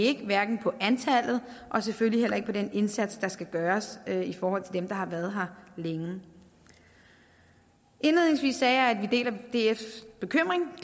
ikke hvad angår antallet og selvfølgelig heller ikke den indsats der skal gøres i forhold til dem der har været her længe indledningsvis sagde jeg at vi deler dfs bekymring